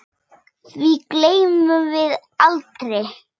Því gleymum við aldrei.